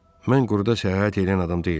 Mən quruda səyahət eləyən adam deyiləm.